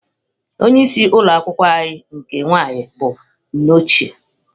Onye isi ụlọ akwụkwọ anyị nke nwaanyị bụ nne ochie